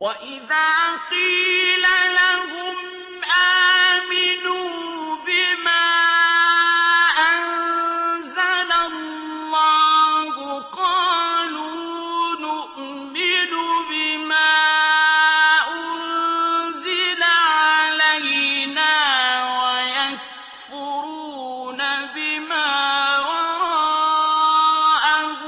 وَإِذَا قِيلَ لَهُمْ آمِنُوا بِمَا أَنزَلَ اللَّهُ قَالُوا نُؤْمِنُ بِمَا أُنزِلَ عَلَيْنَا وَيَكْفُرُونَ بِمَا وَرَاءَهُ